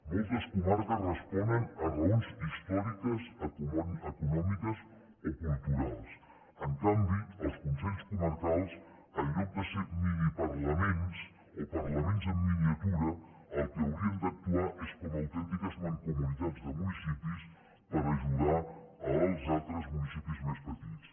moltes comarques responen a raons històriques econòmiques o culturals en canvi els consells comarcals en lloc de ser miniparlaments o parlaments en miniatura el que haurien d’actuar és com a autèntiques mancomunitats de municipis per ajudar els altres municipis més petits